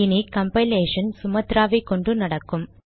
இனி compilation சுமத்ராவை கொண்டு நடக்கும்